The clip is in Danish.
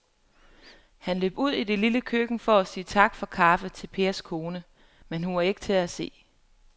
Han løb ud i det lille køkken for at sige tak for kaffe til Pers kone, men hun var ikke til at se.